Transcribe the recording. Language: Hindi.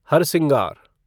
हरसिंगार